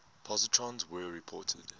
positrons were reported